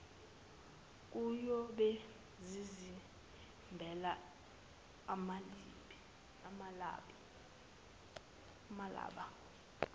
kuyobe zizimbela amaliba